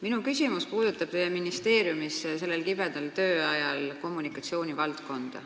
Minu küsimus puudutab teie ministeeriumi kommunikatsioonitegevust sel kibedal tööajal.